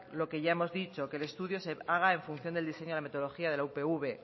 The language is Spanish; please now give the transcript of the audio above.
lo que ya hemos dicho que el estudio se haga en función del diseño de la metodología de la upv